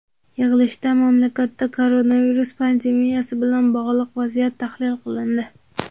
Yig‘ilishda mamlakatda koronavirus pandemiyasi bilan bog‘liq vaziyat tahlil qilindi.